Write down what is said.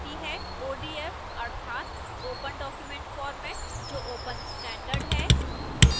odf अर्थात open document format जो open standard है